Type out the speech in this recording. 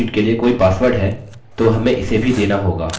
यहाँ हमें इसकी ज़रूरत नहीं है